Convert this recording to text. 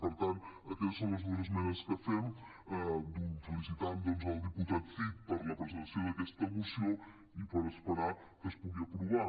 i per tant aquestes són les dues esmenes que fem felicitem el diputat cid per la presentació d’aquesta moció i per esperar que es pugui aprovar